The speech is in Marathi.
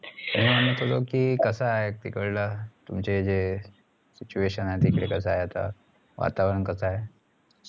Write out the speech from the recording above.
मी म्हणत की कसा आहे तिकडलं तुमचे जे situation तिकडे कसा आहे आता वातावरण कसा आहे